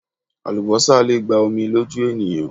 Àlúbósà le gba omi lójú ènìyàn